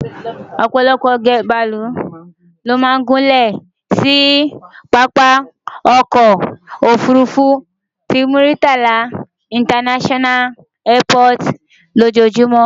Òpòlopò bàálù ni ó máa ń gúnlè sí pápá okoò òfurufú ti Muritala International Airport lójúmó.